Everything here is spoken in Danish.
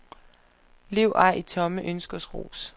Lev ej i tomme ønskers rus.